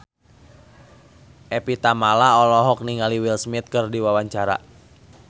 Evie Tamala olohok ningali Will Smith keur diwawancara